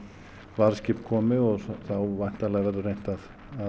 varðskip komi og þá væntanlega verður reynt að